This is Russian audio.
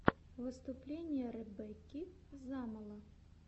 выступление ребекки замоло